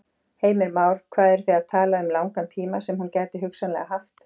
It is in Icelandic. Heimir Már: Hvað eru þið að tala um langan tíma sem hún gæti hugsanlega haft?